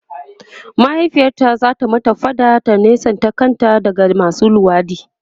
mahaifiyarta zata mata faɗa ta nesanta kanta daga masu luwaɗi